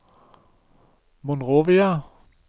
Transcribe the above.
Monrovia